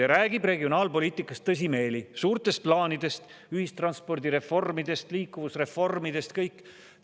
Ja räägib regionaalpoliitikast tõsimeeli, suurtest plaanidest, ühistranspordireformist, liikuvusreformist, kõigest sellisest.